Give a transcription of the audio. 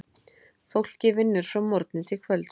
Fólkið vinnur frá morgni til kvölds.